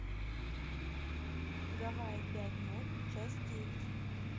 гавайи пять ноль часть девять